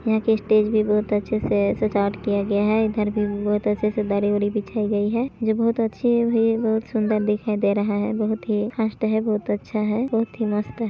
यहाँ की स्टेज भी बहुत अच्छे से सजावट किया गया है इधर भी बहुत अच्छे से दरी वरी बिछाई गई है जो बहुत अच्छी हुई बहुत सुंदर दिखाई दे रहा है बहुत ही फर्स्ट है बहुत अच्छा है बहुत ही मस्त है।